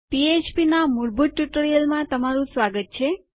પીએચપીના મૂળભૂત ટ્યુટોરીયલમાં તમારું સ્વાગત છે